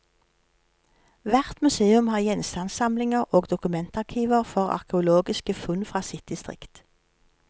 Hvert museum har gjenstandssamlinger og dokumentarkiver for arkeologiske funn fra sitt distrikt.